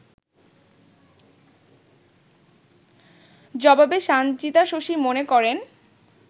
জবাবে সানজিদা শশী মনে করেন